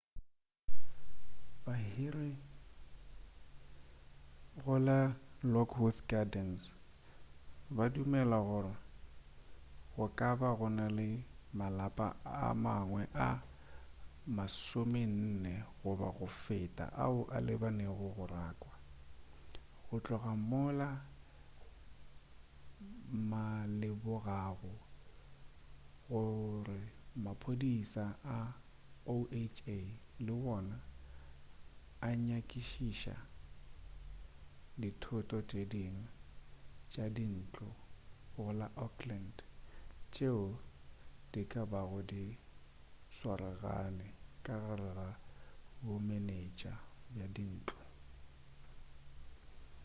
bahiri go la lockwood gardens ba dumela gore go ka ba go na le malapa a mangwe a 40 goba go feta ao a lebanego le go rakwa go tloga mola ma lemogago gore maphodisa a oha le wona a nyakišiša dithoto tše dingwe tša dintlo go la oakland tšeo di ka bago di swaragane ka gare ga bomenetša bja dintlo